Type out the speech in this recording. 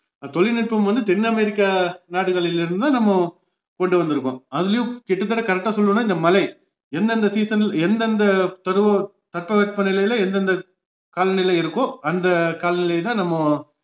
தொழில்நுட்பம் வந்து தென் அமேரிக்கா நாடுகளிலிருந்து தான் நம்ம கொண்டு வந்துருக்கோம் அதுலேயும் கிட்டத்தட்ட correct ஆ சொல்லுவேன்னா இந்த மழை எந்தெந்த season எந்தெந்த பருவம் தட்பவெப்ப நிலைலே எந்தெந்த காலநிலை இருக்கோ அந்த காலநிலைதான் நம்ம